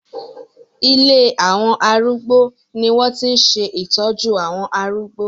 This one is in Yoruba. Ilé àwọn arúgbó ni wọ́n ti ń ṣe ìtọ́jú àwọn arúgbó